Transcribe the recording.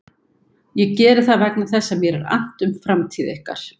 Ég geri það vegna þess að mér er annt um framtíð ykkar.